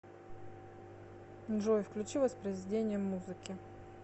джой включи воспроизведение музыки